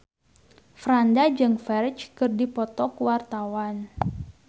Franda jeung Ferdge keur dipoto ku wartawan